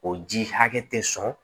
O ji hakɛ tɛ sɔn